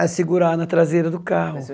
É segurar na traseira do carro.